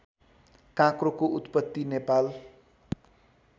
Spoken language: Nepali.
काँक्रोको उत्पत्ति नेपाल